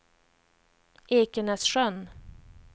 Ekenässjön